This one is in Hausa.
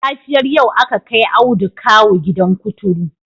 A safiyar yau aka kai Audu kawu gidan kuturu